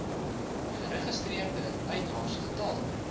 geregistreerde eienaars getal